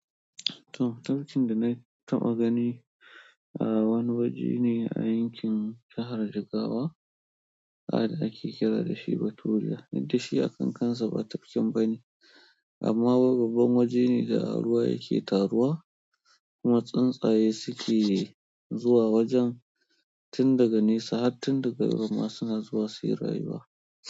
Tumatircin da na taɓa gani a wani waje ne a yankin jahar Jigawa. Ada ake kira dashi baturiya, inda shi a kan kansa ba tafkin ba ne amma gabon waje ne da ruwa yake taruwa kuma tsuntsaye suke zuwa wajen. Tin daga nisa har tin daga girma suna zuwa suyi rayuwa.